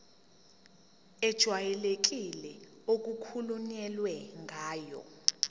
ejwayelekile okukhulunywe ngayo